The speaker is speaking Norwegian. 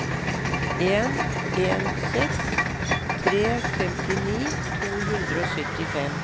en en seks tre femtini to hundre og syttifem